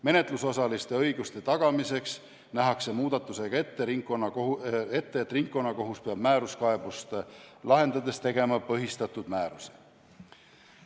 Menetlusosaliste õiguste tagamiseks nähakse muudatusega ette, et ringkonnakohus peab määruskaebust lahendades tegema põhistatud määruse.